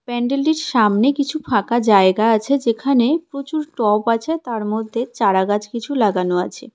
প্যান্ডেলটির সামনে কিছু ফাঁকা জায়গা আছে যেখানে প্রচুর টব আছে তার মধ্যে চারাগাছ কিছু লাগানো আছে.